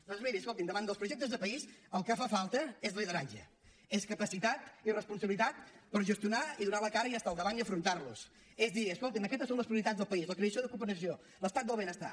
doncs miri escolti davant dels projectes de país el que fa falta és lideratge és capacitat i responsabilitat per gestionar i donar la cara i estar al davant i afrontar los és dir escolti aquestes són les prioritats del país la creació l’ocupació l’estat del benestar